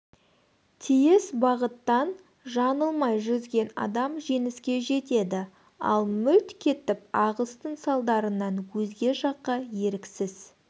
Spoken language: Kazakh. тиіс бағыттан жаңылмай жүзген адам жеңіске жетеді ал мүлт кетіп ағыстың салдарынан өзге жаққа еріксіз